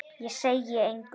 Ég segi engum.